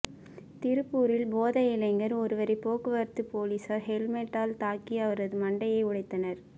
திருப்பூரில் போதை இளைஞர் ஒருவரை போக்குவரத்து போலீசார் ஹெல்மெட்டால் தாக்கி அவரது மண்டையை உடைத்தனர்